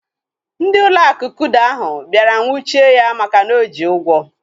Ndị ụlọ akụ kuda ahụ bịara nwuchie ya maka na oji ụgwọ